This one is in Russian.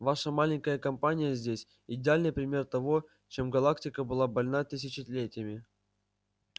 ваша маленькая компания здесь идеальный пример того чем галактика была больна тысячелетиями